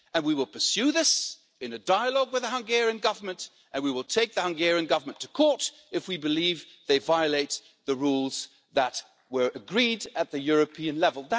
We will pursue this in a dialogue with the Hungarian Government and we will take the Hungarian Government to court if we believe that they violate the rules that were agreed at European level.